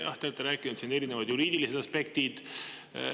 Jah, te olete rääkinud siin, et on erinevad juriidilised aspektid.